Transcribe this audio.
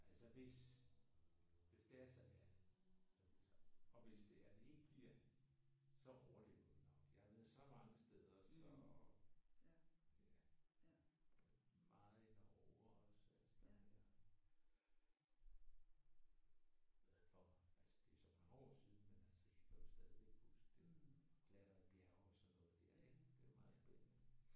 Altså hvis hvis det altså er at vi tager derop og hvis det er at ikke bliver så overlever vi nok. Jeg har været så mange steder så ja. Meget i Norge også steder at være. Glad for altså det er nogle år siden men jeg kan stadig huske det at klatre i bjerge og sådan noget der. Det er meget spændende